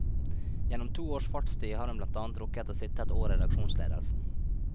Gjennom to års fartstid har hun blant annet rukket å sitte et år i redaksjonsledelsen.